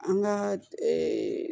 An ka